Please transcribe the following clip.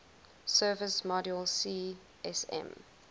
service module csm